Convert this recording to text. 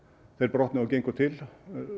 brotnuðu og gengu til